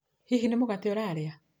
Hihi nĩ mũgate urarĩa?